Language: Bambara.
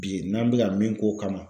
Bi n'an bɛka min k'o kama.